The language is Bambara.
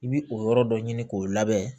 I bi o yɔrɔ dɔ ɲini k'o labɛn